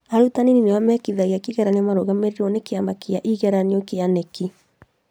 Arutani nĩo mekithagia kĩgeranio marũgamĩrĩirwo nĩ kĩama kĩa igeranio kĩa kĩama ya igetanio ya KNEC